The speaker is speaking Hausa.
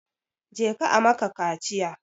Je ka a maka kaciya!